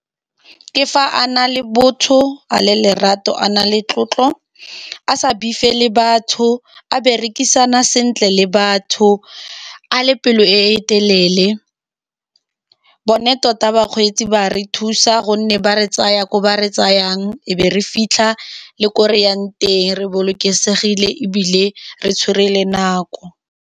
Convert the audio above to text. Ke fa a na le botho, a le lerato, a na le tlotlo, a sa le batho, a berekisana sentle le batho, a le pelo e e telele. Bone tota bakgweetsi ba re thusa ka gonne ba re tsaya ko ba re tsayang, e be re fitlha le ko reyang teng, re bolokesegile, ebile re tshwere le nako.